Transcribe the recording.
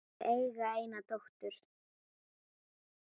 Þau eiga eina dóttur.